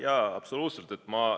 Jaa, absoluutselt!